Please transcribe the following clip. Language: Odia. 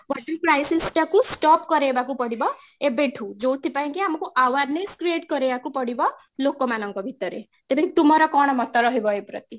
water crisis ଟାକୁ stop କରେଇବାକୁ ପଡିବ ଏବେଠୁ ଯୋଉଥିପାଇଁକି ଆମକୁ awareness create କରିବାକୁ ପଡିବ ଲୋକ ମାନଙ୍କ ଭିତରେ, ତେବେ ତୁମର କ'ଣ ମତ ରହିବ ଏଇ ପ୍ରତି ?